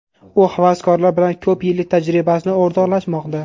U havaskorlar bilan ko‘p yillik tajribasini o‘rtoqlashmoqda.